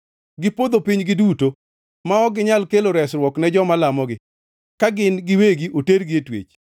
Gipodho piny giduto; ma ok ginyal kelo resruok ne joma lamogi, ka gin giwegi otergi e twech.